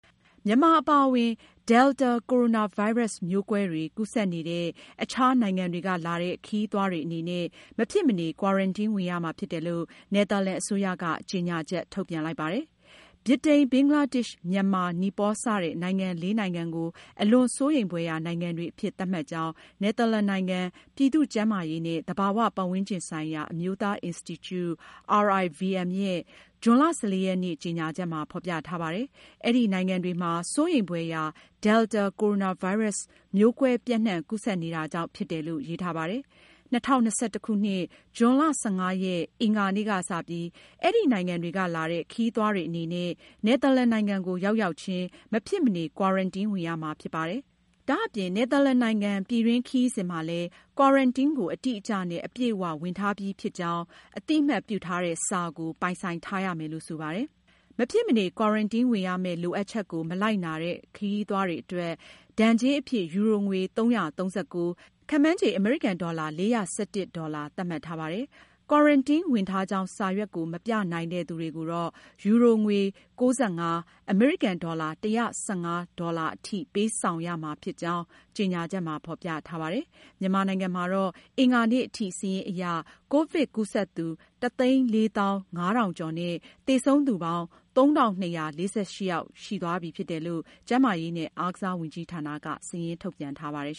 မြန်မာအပါအဝင် Delta ကိုရိုနာဗိုင်းရပ်စ် မျိုးကွဲတွေ ကူးစက်နေတဲ့ အခြားနိုင်ငံတွေကလာတဲ့ ခရီးသွားတွေအနေနဲ့ မဖြစ်မနေ ကွာရန်တင်းဝင်ရမှာဖြစ်တယ်လို့ နယ်သာလန်အစိုးရက ကြေညာချက် ထုတ်ပြန်လိုက်ပါတယ်။ ဗြိတိန်၊ ဘင်္ဂလားဒေ့ရှ်၊ မြန်မာ၊ နီပေါလ် စတဲ့ နိုင်ငံ လေး နိုင်ငံကို အလွန်စိုးရိမ်ဖွယ်ရာ နိုင်ငံတွေအဖြစ် သတ်မှတ်ကြောင်း နယ်သာလန်နိုင်ငံ ပြည်သူ့ကျန်းမာရေးနဲ့ သဘာဝပတ်ဝန်းကျင်ဆိုင်ရာ အမျိုးသားအင်စတီကျူ (RIVM) ရဲ့ ဇွန်လ (၁၄)ရက်နေ့ ကြေညာချက်မှာ ဖေါ်ပြထားပါတယ်။ အဲဒီနိုင်ငံတွေမှာ စိုးရိမ်ဖွယ်ရာ Delta ကိုရိုနာဗိုင်းရပ်စ် မျိုးကွဲပျံ့နှံ့ကူးစက်နေတာကြောင့် ဖြစ်တယ်လို့ ရေးထားပါတယ်။ ၂၀၂၁ ဇွန် ၁၅ ရက်၊ အင်္ဂါနေ့ ကစပြီး အဲဒီနိုင်ငံတွေကလာတဲ့ခရီးသွားတွေအနေနဲ့ နယ်သာလန်နိုင်ငံကို ရောက်ရောက်ချင်း မဖြစ်မနေ ကွာရန်တင်းဝင်ရမှာဖြစ်ပါတယ်။ ဒါအပြင် နယ်သာလန်နိုင်င် ပြည်တွင်း ခရီးစဉ်မှာလည်း ကွာရန်တင်းကို အတိအကျနဲ့အပြည့်အ၀ ဝင်ထားပြီးပြီဖြစ်ကြောင်း အသိအမှတ်ပြုထားတဲ့ စာကို ပိုင်ဆိုင်ထားရမယ်လို့ ဆိုပါတယ်။ မဖြစ်မနေ ကွာရန်တင်းဝင်ရမယ့် လိုအပ်ချက်ကို မလိုက်နာတဲ့ ခရီးသွားတွေအတွက် ဒဏ်ကြေးအဖြစ် ယူရိုငွေ ၃၃၉ (ခန့်မှန်းခြေ အမေရိကန်ဒေါ်လာ ၄၁၁ ဒေါ်လာ) သတ်မှတ်ထားပါတယ်။ ကွာရန်တင်းဝင်ထားကြောင်း စာရွက်ကို မပြနိုင်တဲ့သူတွေကို ယူရို ၉ ၅ ( အမေရိကန်ဒေါ်လာ ၁၁၅) အထိ ပေးဆောင်ရမှာဖြစ်ကြောင်း ကြေညာချက်မှာ ဖေါ်ပြထားပါတယ်။ မြန်မာနိုင်ငံမှာတော့ အင်္ဂါနေ့ထိ စာရင်းအရ မြန်မာနိုင်ငံမှာ ကိုဗစ်ကူးစက်သူ ၁ သိန်း ၄ သောင်း ၅ ထောင်ကျော်နဲ့ သေဆုံးသူ ၃၂၄၈ ယောက်ရှိသွားပြီ ဖြစ်တယ်လို့ ကျန်းမာရေးနဲ့ အားကစားဝန်ကြီးဌာနက စာရင်းထုတ်ပြန်ထားပါတယ်